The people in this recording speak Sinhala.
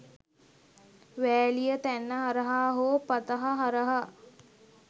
වෑලිය තැන්න හරහා හෝ පතහ හරහා